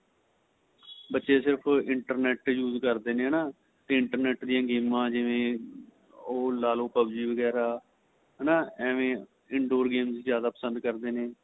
ਬੱਚੇ ਸਿਰਫ਼ internet use ਕਰਦੇ ਨੇ ਹੈਨਾ ਤੇ internet ਦੀਆਂ ਗੇਮਾਂ ਜਿਵੇਂ ਓ ਲਾਲੋ PUB G ਵਗੇਰਾ ਹੈਨਾ ਐਵੇ in door game ਜਿਆਦਾ ਪਸੰਦ ਕਰਦੇ ਨੇ